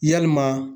Yalima